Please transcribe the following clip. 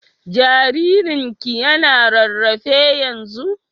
Jaririn ki yana rarrafe yanzun?